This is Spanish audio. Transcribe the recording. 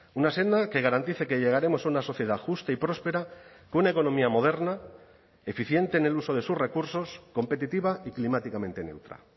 una senda que garantice que llegaremos a una sociedad justa y próspera con una economía moderna eficiente en el uso de sus recursos competitiva y climáticamente neutra